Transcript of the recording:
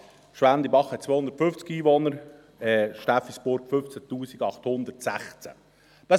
Schwendibach hat 250, Steffisburg 15 816 Einwohner.